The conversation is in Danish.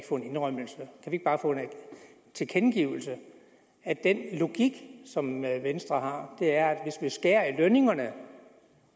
få en indrømmelse en tilkendegivelse af at den logik som venstre har er at hvis der på lønningerne